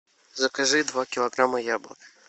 закажи два килограмма яблок